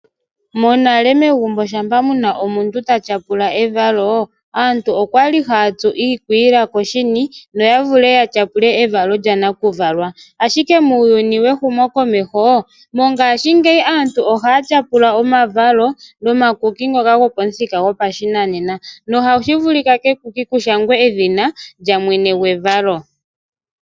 Monale megumbo shampa muna omuntu ta tyapula evalo aantu okwali hayatsu iikwiila koshini noya vule ya tyapule evalo lya nakuvalwa ,ihe muuyuni wehumokomeho mongashingeya aantu ohaya tyapula omavalo no makuki ngoka gopashinanena nohashi vulika kekuki kushangwe edhina lyamwene gwevalo.